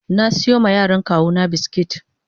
na siyo ma yaran kawuna biskit.